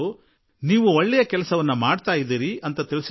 ನೀವು ಉತ್ತಮ ಕೆಲಸ ಮಾಡುತ್ತಿದ್ದೀರಿ ಎಂದು ಅವರು ಬರೆದಿದ್ದಾರೆ